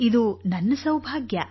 ಇದು ನನ್ನ ಸೌಭಾಗ್ಯ